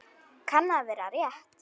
Kann að vera rétt.